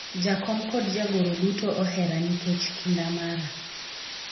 jakom kod jagoro duto ohera nikech kinda mara